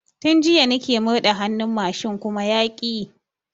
Tun jiya nike murɗa hannun mashin kuma yaƙi yi